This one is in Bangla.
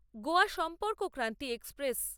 গোয়া সম্পর্কক্রান্তি এক্সপ্রেস